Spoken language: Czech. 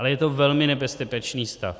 Ale je to velmi nebezpečný stav.